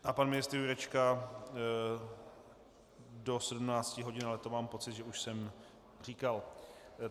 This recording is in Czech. A pan ministr Jurečka do 17 hodin, ale to mám pocit, že už jsem říkal.